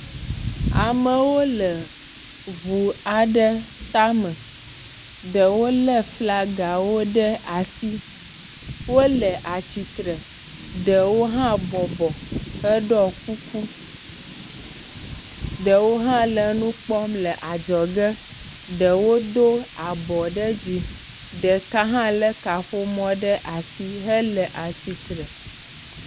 Amewo le ŋu aɖe tame, ɖewo le flagawo ɖe asi wole atsitre, ɖewo hã bɔbɔ heɖɔ kuku, ɖewo hã le nu kpɔm le adzɔ ge ɖewo do abɔ ɖe dzi ɖeka hã lé kaƒomɔ ɖe asi hele tsitre.